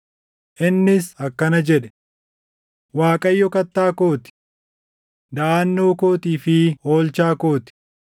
Innis akkana jedhe: “ Waaqayyo kattaa koo ti; daʼannoo kootii fi oolchaa koo ti;